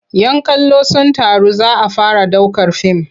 "Yan kallo sun taru za a fara ɗaukar fim.